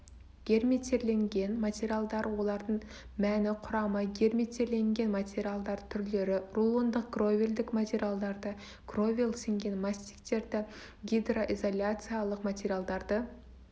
герметирленген материалдар олардың мәні құрамы герметирленген материалдар түрлері рулондық кровельдік материалдарды кровель сіңген мастиктерді гидроизоляциялық материалдарды